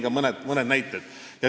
Ma tõin ka mõne näite.